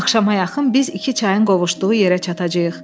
Axşama yaxın biz iki çayın qovuşduğu yerə çatacağıq.